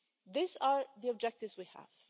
These are the objectives we have.